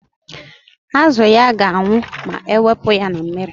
Azụ ya ga-anwụ ma ewepụta ya na mmiri.